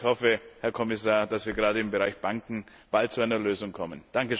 Ich hoffe, Herr Kommissar, dass wir gerade im Bereich Banken bald zu einer Lösung kommen.